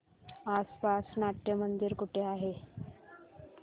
आसपास नाट्यमंदिर कुठे आहे